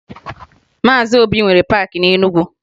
Maazị Obi nwere paakị na Enugu